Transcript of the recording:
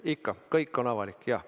Ikka, kõik on avalik, jaa.